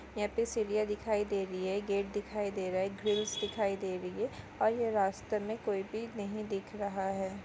यहा पे सिडिया दिखाई दे रही है गेट दिखाई दे रहा है ग्रील्स दिखाई दे रही है और ये रास्ते मे कोई भी नहीं दिख रहा है।